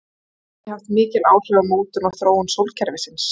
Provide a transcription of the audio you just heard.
Hann hefur því haft mikil áhrif á mótun og þróun sólkerfisins.